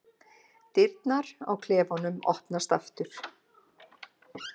Dyrnar á klefanum opnast aftur.